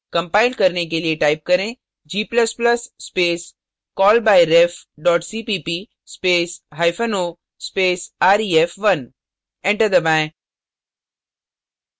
compile करने के लिए type करें; g ++ space callbyref cpp space hyphen o space ref1 enter दबाएँ